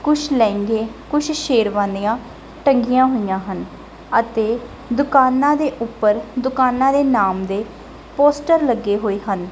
ਕੁਛ ਲਹਿੰਗੇ ਕੁਛ ਸ਼ੇਰਵਾਨੀਆਂ ਟੰਗੀਆਂ ਹੋਈਆਂ ਹਨ ਅਤੇ ਦੁਕਾਨਾਂ ਦੇ ਉੱਪਰਦੁਕਾਨਾਂ ਦੇ ਨਾਮ ਦੇ ਪੋਸਟਰ ਲੱਗੇ ਹੋਏ ਹਨ।